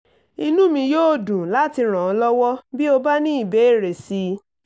inú mi yóò dùn láti ràn ọ́ lọ́wọ́ bí o bá ní ìbéèrè sí i